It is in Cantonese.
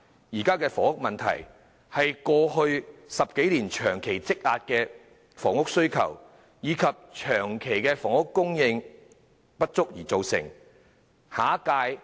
現時的房屋問題是由過去10多年長期積壓的房屋需求，以及房屋供應長期不足所造成。